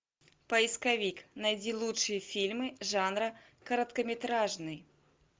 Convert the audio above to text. поисковик найди лучшие фильмы жанра короткометражный